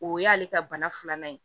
O y'ale ka bana filanan ye